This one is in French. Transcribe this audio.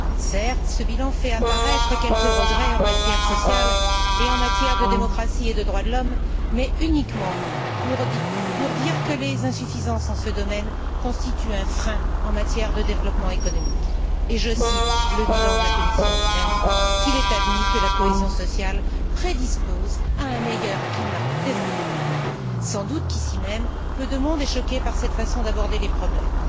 Certes, ce bilan fait apparaître quelques regrets en matière sociale et en matière de démocratie et de droits de l'homme, mais uniquement pour dire que les insuffisances en ce domaine constituent un frein en matière de développement économique et je cite le bilan de la Commission lui même qu'il est admis que la cohésion sociale prédispose à un meilleur climat des affaires. Sans doute qu'ici même, peu de monde est choqué par cette façon d'aborder les problèmes.